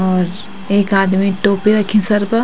और एक आदमी टोपी रखीं सर पर।